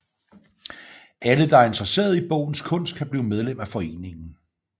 Alle der er interesseret i bogens kunst kan blive medlem af foreningen